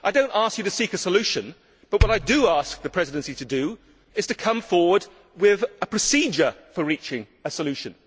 I do not ask you to seek a solution, but what I do ask the Presidency to do is to come forward with a procedure for reaching a solution.